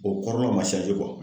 O kɔrɔ ma